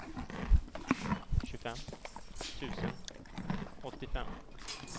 tjugofem tusen åttiofem